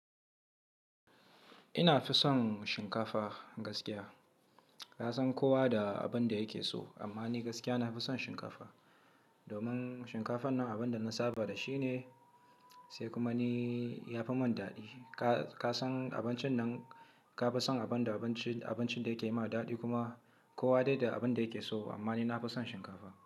Ina fi son shinkafa gaskiya. Ka san kowa da abin da yake so, amma ni gaskiya na fi son shinkafa. Domin shinkafan nan abin da na saba da shi ne, sai kuma ni ya fi mun daɗi. Ka, ka san abincin nan, ka fi son abin da abinci, abincin da yake yi ma daɗi kuma kowa dai da abin da yake so. Amma ni na fi son shinkafa.